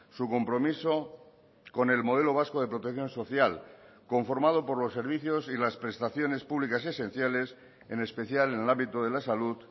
su compromiso con el modelo vasco de protección social conformado por los servicios y las prestaciones públicas esenciales en especial en el ámbito de la salud